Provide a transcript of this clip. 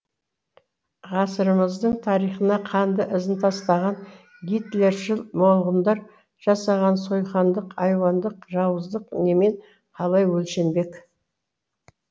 ғасырымыздың тарихына қанды ізін тастаған гитлершіл молғұндар жасаған сойқандық айуандық жауыздық немен қалай өлшенбек